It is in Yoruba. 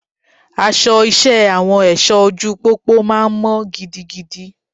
Aṣọ iṣẹ́ Àwọn èṣọ ojú pópó máa mọ́ gidigidi.